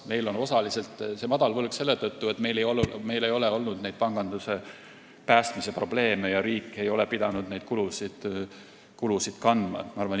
Meil on see võlg madal osaliselt selle tõttu, et meil ei ole olnud selliseid panganduse päästmise probleeme ja riik ei ole pidanud niisuguseid kulusid kandma.